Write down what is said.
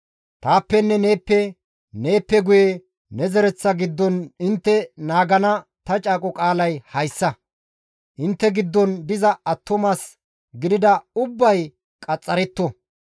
Taappenne neeppe, neeppe guye ne zereththa giddon intte naagana ta caaqo qaalay hayssa; intte giddon diza attumas ubbay qaxxaretto.